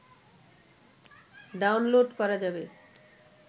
download করা যাবে